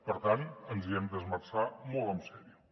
per tant ens hi hem d’esmerçar molt seriosament